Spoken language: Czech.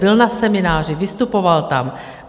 Byl na semináři, vystupoval tam.